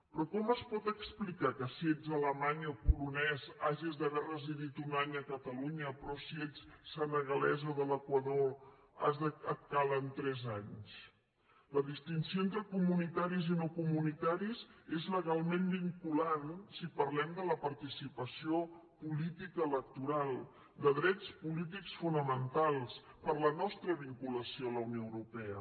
però com es pot explicar que si ets alemany o polonès hagis d’haver residit un any a catalunya però si ets senegalès o de l’equador et calguin tres anys la distinció entre comunitaris i no comunitaris és legalment vinculant si parlem de la participació política electoral de drets polítics fonamentals per la nostra vinculació a la unió europea